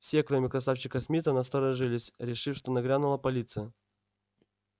все кроме красавчика смита насторожились решив что нагрянула полиция